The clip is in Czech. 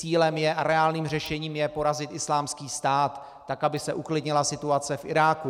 Cílem je a reálným řešením je porazit Islámský stát, tak aby se uklidnila situace v Iráku.